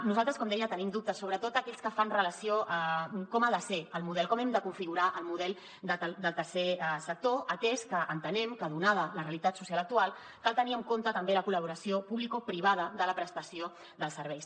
nosaltres com deia tenim dubtes sobretot aquells que fan relació a com ha de ser el model com hem de configurar el model del tercer sector atès que entenem que donada la realitat social actual cal tenir en compte també la col·laboració publicoprivada de la prestació dels serveis